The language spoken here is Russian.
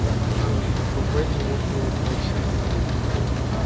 я махнул рукой неловко улыбнулся